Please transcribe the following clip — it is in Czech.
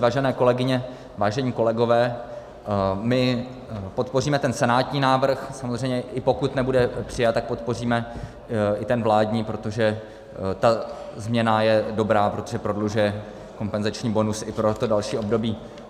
Vážené kolegyně, vážení kolegové, my podpoříme ten senátní návrh samozřejmě, i pokud nebude přijat, tak podpoříme i ten vládní, protože ta změna je dobrá, protože prodlužuje kompenzační bonus i pro to další období.